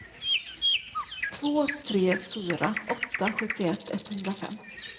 två tre fyra åtta sjuttioett etthundrafem